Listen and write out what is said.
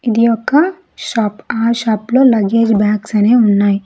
ఇది ఒక షాప్ ఆ షాప్ లో లగేజ్ బ్యాగ్స్ అనేవి ఉన్నాయి.